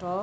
too